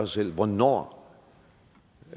selv hvornår